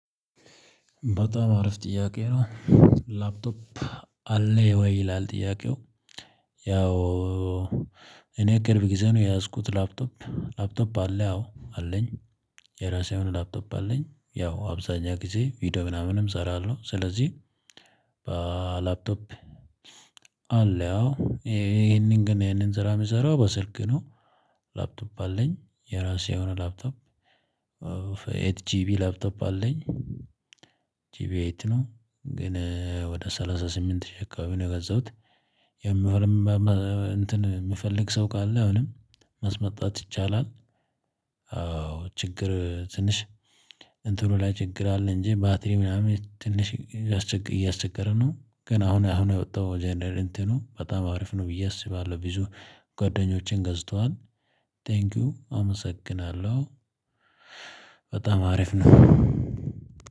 በጣም አረፍ ጥያቄ ነው? ላፕቶፕ አለ ወይ ይላል? ጥያቄው ያው እኔ ቅርብ ጊዜ ነው የያዝኩት ላፕቶፕ ላፕቶፕ አለ አዎ አለኝ። የራሴ የሆነ ላፕቶፕ አለኝ ያው አብዛኛው ጊዜ ቪዲዮ ምናምንም እሰራለሁ። ስለዚህ በላፕቶፕ አለ ይሄንን ግን ይሄንን ስራ የሚሰራው በስልክ ነው። ላፕቶፕ አለኝ የራሴ የሆነ ላፕቶፕ ኤት ጂቢ ላፕቶፕ አለኝ። ጂቢ ኤት ነው ግን ወደ ሰላሳ ስምንት ሺህ አካባቢ ነው የገዛሁት። የምፈልገው ሰው ካለ አሁንም ማስመጣት ይቻላል። አዎ ችግር ትንሽ እንትኖ ላይ ችግር አለ። እንጂ ባትሪ ምናምን ትንሽ እያስቸገረ ነው። ግን አሁን አሁን ያወጣው ጀነሬሽኑ በጣም አሪፍ ነው ብዬ አስባለሁ ቢዙ ጓደኞቼም ገዝቷል። ቴንኪው አመሰግናለሁ። በጣም አሪፍ ነው።